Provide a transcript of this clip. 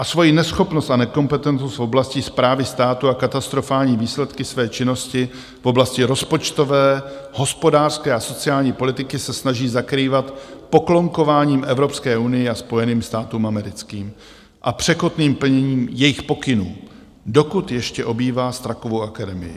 A svoji neschopnost a nekompetentnost v oblasti správy státu a katastrofální výsledky své činnosti v oblasti rozpočtové, hospodářské a sociální politiky se snaží zakrývat poklonkováním Evropské unii a Spojeným státům americkým a překotným plněním jejich pokynů, dokud ještě obývá Strakovu akademii.